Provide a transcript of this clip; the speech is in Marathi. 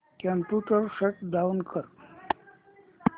कम्प्युटर शट डाउन कर